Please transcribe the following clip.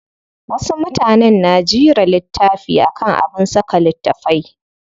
Wasu mutanen na jira littafi akan abin saka littafai.